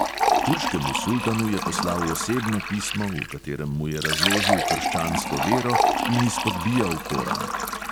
Turškemu sultanu je poslal osebno pismo, v katerem mu je razložil krščansko vero in izpodbijal koran.